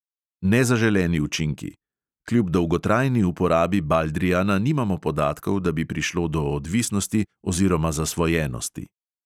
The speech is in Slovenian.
Nezaželeni učinki: kljub dolgotrajni uporabi baldrijana nimamo podatkov, da bi prišlo do odvisnosti oziroma zasvojenosti.